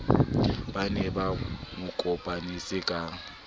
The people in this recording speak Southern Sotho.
ba ne ba mokopanetse ka